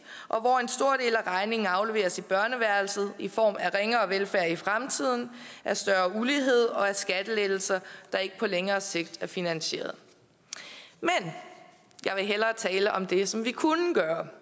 og af regningen afleveres i børneværelset i form af ringere velfærd i fremtiden af større ulighed og af skattelettelser der ikke på længere sigt er finansieret jeg vil hellere tale om det som vi kunne gøre